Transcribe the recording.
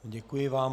Děkuji vám.